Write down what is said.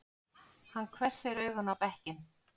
Hann hvessir augun á bekkinn.